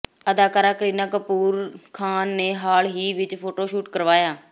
ਅਦਾਕਾਰਾ ਕਰੀਨਾ ਕਪੂਰ ਖਾਨ ਨੇ ਹਾਲ ਹੀ ਵਿੱਚ ਫੋਟੋਸ਼ੂਟ ਕਰਾਇਆ